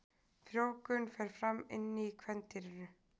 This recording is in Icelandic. Frjóvgun fer fram inni í kvendýrinu.